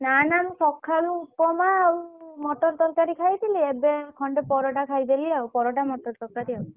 ନା ଏବେ ଖଣ୍ଡେ ପରଟା ଖାଇଦେଲି ଆଉ ପରଟା ମଟର ତରକାରୀ ଆଉ।